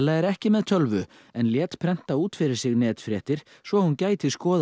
er ekki með tölvu en lét prenta út fyrir sig netfréttir svo hún gæti skoðað